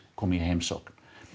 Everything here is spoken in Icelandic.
komu í heimsókn